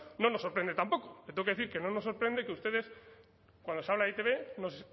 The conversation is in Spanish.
no nos sorprende tampoco le tengo que decir que no nos sorprende que ustedes cuando se habla de e i te be nos